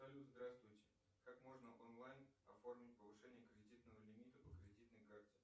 салют здравствуйте как можно онлайн оформить повышение кредитного лимита по кредитной карте